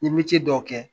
N ye dɔw kɛ